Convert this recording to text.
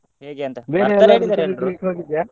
ಹೇಗೆ ಅಂತ .